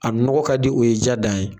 A nɔgɔ ka di o ye ja dan ye